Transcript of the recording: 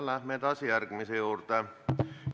Läheme edasi järgmise küsimuse juurde.